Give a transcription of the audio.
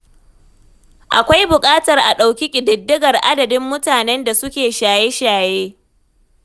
Akwai bukatar a dauki ƙididdigar adadin mutanen da suke shaye-shaye.